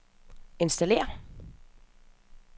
installér